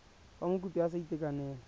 fa mokopi a sa itekanela